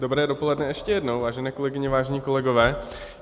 Dobré dopoledne ještě jednou, vážené kolegyně, vážení kolegové.